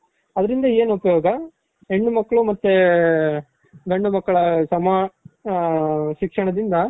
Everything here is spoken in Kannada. ಅದರಿಂದ ಏನು ಉಪಯೋಗ ಹೆಣ್ಣು ಮಕ್ಕಳು ಮತ್ತೆ ಗಂಡು ಮಕ್ಕಳ ಸಮ ಶಿಕ್ಷಣದಿಂದ